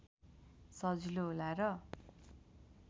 सजिलो होला र